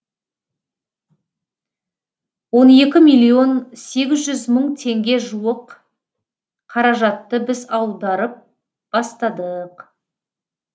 он екі миллион сегіз жүз мың теңге жуық қаражатты біз ауадарып бастадық